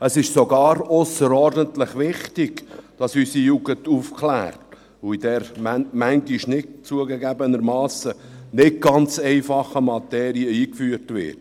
Es ist sogar ausserordentlich wichtig, dass unsere Jugend aufgeklärt und in diese, manchmal zugegebenermassen nicht ganz einfache, Materie eingeführt wird.